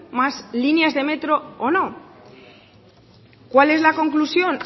más líneas de metro o no cuál es la conclusión